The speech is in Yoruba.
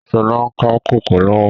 Sọlá ń ka kòkó lọ́wọ́